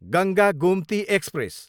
Ganga Gomti express